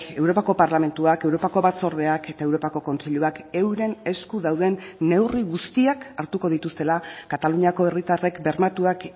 europako parlamentuak europako batzordeak eta europako kontseiluak euren esku dauden neurri guztiak hartuko dituztela kataluniako herritarrek bermatuak